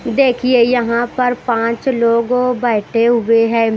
देखिए यहां पर पांच लोग बैठे हुए हैं।